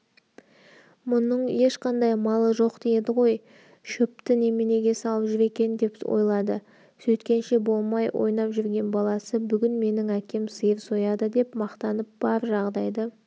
мұның ешқандай малы жоқ еді ғой шөпті неменеге салып жүр екен деп ойлады сөйткенше болмай ойнап жүрген баласы бүгін менің әкем сиыр сояды деп мақтанып бар жағдайды